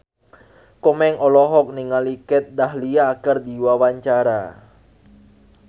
Komeng olohok ningali Kat Dahlia keur diwawancara